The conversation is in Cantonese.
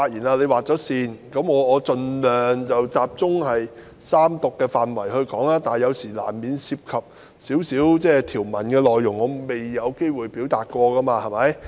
我現在會盡量集中就三讀辯論的範圍發言，但有時難免會談及條文內容，因為早前未有機會表達。